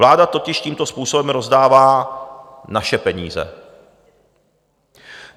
Vláda totiž tímto způsobem rozdává naše peníze.